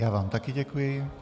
Já vám také děkuji.